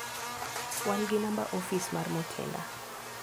wan gi namba ofis mar Mutinda.